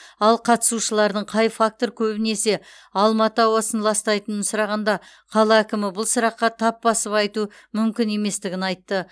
ал қатысушылардың қай фактор көбінесе алматы ауасын ластайтынын сұрағанда қала әкімі бұл сұраққа тап басып айту мүмкін еместігін айтты